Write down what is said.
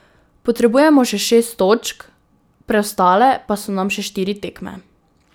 Potrebujemo še šest točk, preostale pa so nam še štiri tekme.